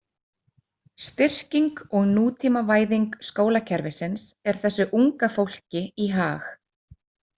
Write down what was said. Styrking og nútímavæðing skólakerfisins er þessu unga fólki í hag.